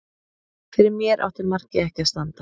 Fyrir mér átti markið ekki að standa.